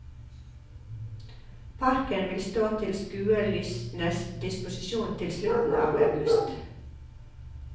Parken vil stå til skuelystnes disposisjon til slutten av august.